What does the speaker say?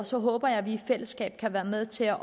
så håber jeg at vi i fællesskab kan være med til at